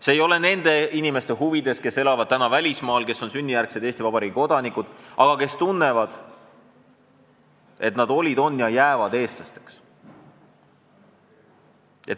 See ei ole nende inimeste huvides, kes elavad välismaal, kes on sünnijärgsed Eesti Vabariigi kodanikud, aga tunnevad, et nad olid, on ja jäävad eestlasteks.